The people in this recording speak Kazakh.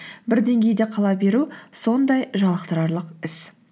бір деңгейде қала беру сондай жалықтырарлық іс